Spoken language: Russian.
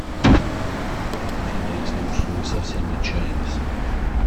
афина если уж вы совсем отчаялись